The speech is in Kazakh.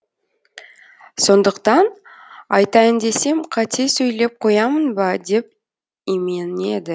сондықтан айтайын десем қате сөйлеп қоямын ба деп именеді